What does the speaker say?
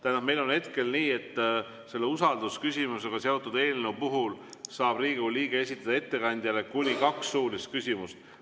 Tähendab, meil on hetkel nii, et selle usaldusküsimusega seotud eelnõu puhul saab Riigikogu liige esitada ettekandjale kuni kaks suulist küsimust.